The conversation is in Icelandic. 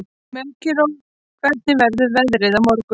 Melkíor, hvernig verður veðrið á morgun?